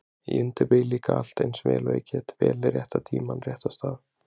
Ég undirbý líka allt eins vel og ég get, vel rétta tímann, rétta stað